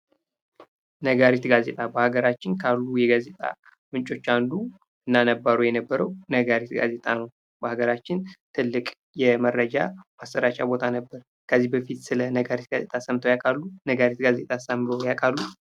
ነጋሪት ጋዜጣ በሀገራችን ካሉ የጋዜጣ ምንጮች አንዱ እና ነባሩ ነጋሪት ጋዜጣ ነው። በሀገራችን ትልቅ የመረጃ ማሰራጫ ቦታ ነበር። ከዚህ በፊት ስለ ነጋሪት ጋዜጣ ሰምተው ያውቃሉ? ነጋሪት ጋዜጣስ አንብበው ያውቃሉ?